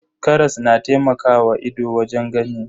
Karas na taimakawa ido wajen gani.